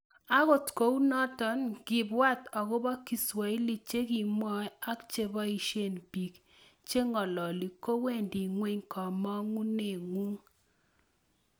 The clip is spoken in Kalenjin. Agot kounoto ngibwat agobo kiswahili che kimwoe ak che boisie bik che ngololi kowendi ngweny komongunengung